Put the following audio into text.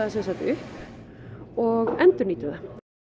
upp og endurnýtum það